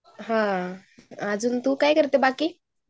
हान अजून तू काय करते बाकी?